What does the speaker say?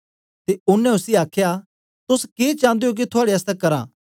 ते ओनें उसी आखया तोस के चान्दे हो के थुआड़े आसतै करां